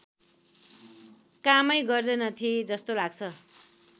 कामै गर्दैनथे जस्तो लाग्छ